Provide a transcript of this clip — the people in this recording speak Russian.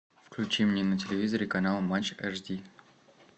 включи мне на телевизоре канал матч эш ди